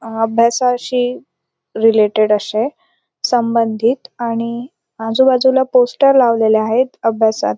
अभ्यासाशी रिलेटेड अशे संबंधित आणि आजूबाजूला पोस्टर लावलेले आहेत अभ्यासात --